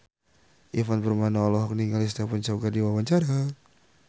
Ivan Permana olohok ningali Stephen Chow keur diwawancara